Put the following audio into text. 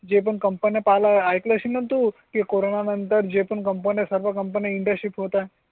जे पण कंपन्या पाला ऐक ला असेल तो कोरोना नंतर जे पण कंपन्या सर्व कंपन्या इंडिया शिप होता.